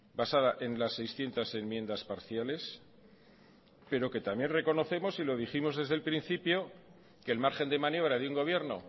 basada en las seiscientos enmiendas parciales pero que también reconocemos y lo dijimos desde el principio que el margen de maniobra de un gobierno